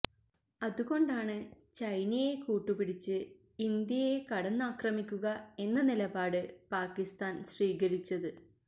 അതുകൊണ്ടാണ് ചൈനയെ കൂട്ടുപിടിച്ച് ഇന്ത്യയെ കടന്നാക്രമിക്കുക എന്ന നിലപാട് പാക്കിസ്ഥാന് സ്വീകരിച്ചത്